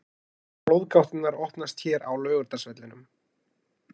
Hafa flóðgáttirnar opnast hér á Laugardalsvellinum??